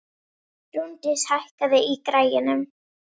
Rúndís, hækkaðu í græjunum.